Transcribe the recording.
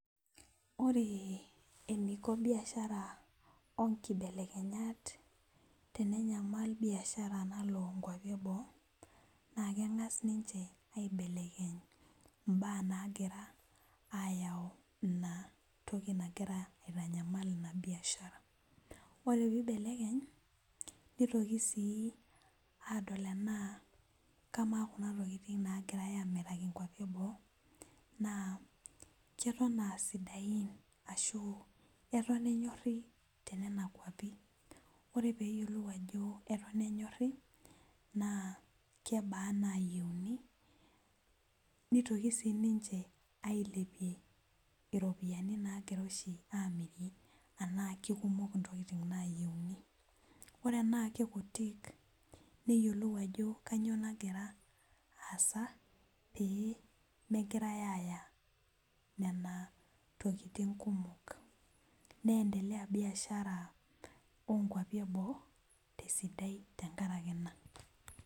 Ore eneiko biashara oonkibelekenyat tenyamal biashara nalo inkuapi eboo naa keng'as aayiolou entoki nagira aitanyamal ina biashara ore peibelekeny neitoki sii aadol tenaa kamaa kuna tokitin naagira amiraki intokitin eboo naa keton aasidain ashuu eto enyori tenena kwapi ore peeyiolou ajo eton enyori naa kebaa inaayieuni neitoki sii ninche ailepie iropiyiani naagira amirie tenaa kebaa intokitin naayieuni ore inaamirie naa kutik neyiolou ajo kanyioo nagira aasa pee megirai aaya intokitin kumok neendea biashara oo kuapi eboo tesidau tenkaraki ina